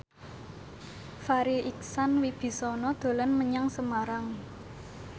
Farri Icksan Wibisana dolan menyang Semarang